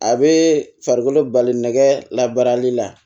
A bɛ farikolo bali nɛgɛ labarali la